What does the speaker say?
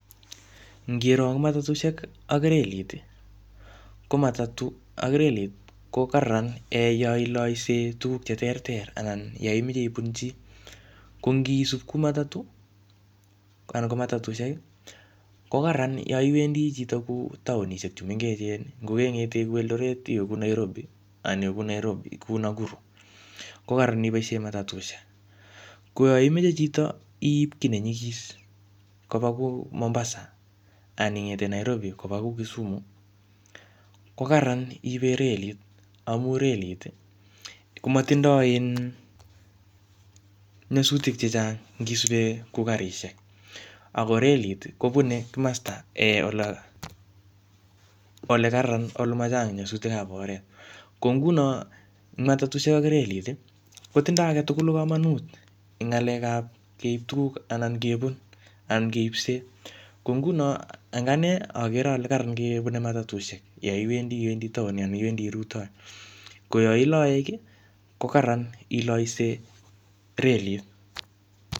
Ngiro eng matatushek ak relit, ko matatu ak relit ko kararan yoiloise tuguk che ter ter, anan yoimeche ibun chii. Ko ngisup ku matatu anan ko matatushek, ko kararan yaiwendi chito taonishek chu mengechen. Ngokeng'ete kuu Eldoret, iwe kuu Nairobi, kuu Nakuru, ko kararan iboisie matatushek. Ko yoimeche chito iip kiy ne nyikis koba kou Mombasa, anan ingete Nairobi koba kuu Kisumu, ko kararan iibe relit, amu relit komatindoi um nyasutik chechang ngisube kuu karishek. Ako relit, kobune kimasta um olo, ole kararan, ole machang nyasutikab oret. Ko nguno matatushek ak relit, kotindoi age tugul komonut eng ngalek ap keip tuguk, anan kebun anan keipsee. Ko nguno ing ane, akere ale kararan kebune matatushek yoiwendi iwendi town anan iwendi rutoi. Ko yailae kiy, ko kararan ilaise relit